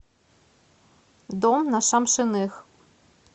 дом на шамшиных